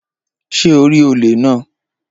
Ṣé o rí olè náà?